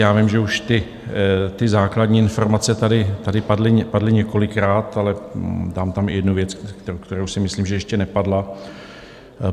Já vím, že už ty základní informace tady padly několikrát, ale dám tam i jednu věc, která si myslím, že ještě nepadla.